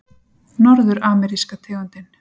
Norður-ameríska tegundin